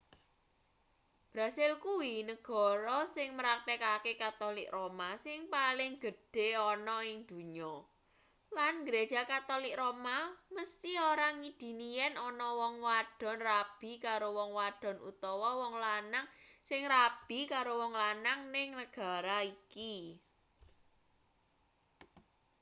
brasil kuwi negara sing mraktekake katolik roma sing paling gedhe ana ing donya lan gereja katolik roma mesthi ora ngidini yen ana wong wadon rabi karo wong wadon utawa wong lanang sing rabi karo wong lanang ning negara iki